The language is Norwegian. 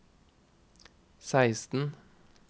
seksten